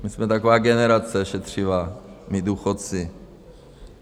My jsme taková generace šetřivá, my důchodci.